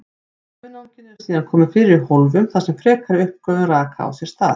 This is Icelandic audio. Hunanginu eru síðan komið fyrir í hólfum þar sem frekari uppgufun raka á sér stað.